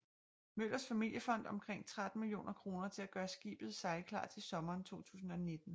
Møllers familiefond omkring 13 millioner kroner til at gøre skibet sejlklar til sommeren 2019